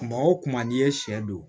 Kuma o kuma n'i ye sɛ don